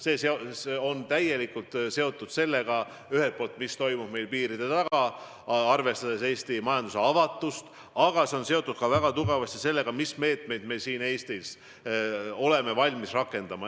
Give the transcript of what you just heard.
See on seotud ühel poolt sellega, mis toimub meie piiride taga, arvestades Eesti majanduse avatust, aga see on seotud väga tugevasti ka sellega, mis meetmeid me siin Eestis oleme valmis rakendama.